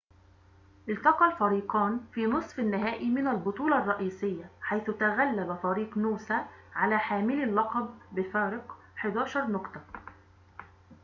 التقى الفريقان في نصف النهائي من البطولة الرئيسية حيث تغلّب فريق نوسا على حاملي اللقب بفارق 11 نقطة